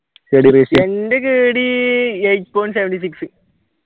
എന്റെ kd eight point seven six